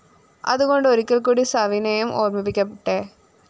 അതുകൊണ്ട് ഒരിക്കല്‍ക്കൂടി സവിനയം ഓര്‍മിപ്പിക്കട്ടെ